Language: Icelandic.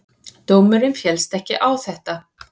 Dómurinn féllst ekki á þetta.